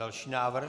Další návrh.